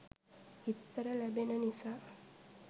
බිත්තර ලැබෙන නිසා